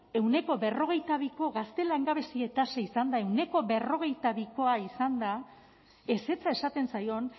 ehuneko berrogeita biko gazte langabezia tasa izanda ehuneko berrogeita bikoa bikoa izanda ezetza esaten zaion